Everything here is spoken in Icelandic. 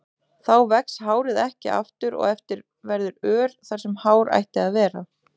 Þá vex hárið ekki aftur og eftir verður ör þar sem hár ætti að vera.